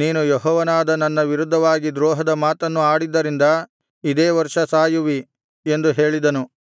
ನೀನು ಯೆಹೋವನಾದ ನನ್ನ ವಿರುದ್ಧವಾಗಿ ದ್ರೋಹದ ಮಾತನ್ನು ಆಡಿದ್ದರಿಂದ ಇದೇ ವರ್ಷ ಸಾಯುವಿ ಎಂದು ಹೇಳಿದನು